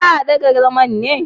Za a daga zama ne?